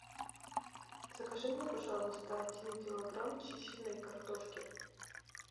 закажи мне пожалуйста один килограмм чищенной картошки